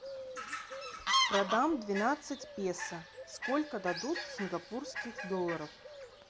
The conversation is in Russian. продам двенадцать песо сколько дадут сингапурских долларов